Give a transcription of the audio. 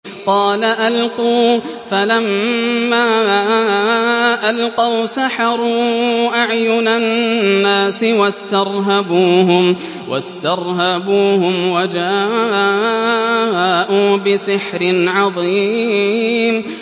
قَالَ أَلْقُوا ۖ فَلَمَّا أَلْقَوْا سَحَرُوا أَعْيُنَ النَّاسِ وَاسْتَرْهَبُوهُمْ وَجَاءُوا بِسِحْرٍ عَظِيمٍ